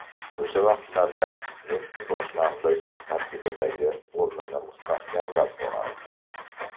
O‘sha vaqtlarda Messi boshlang‘ich tarkibdagi o‘rnini mustahkamlab borardi.